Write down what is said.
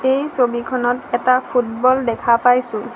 এই ছবিখনত এটা ফুটবল দেখা পাইছোঁ।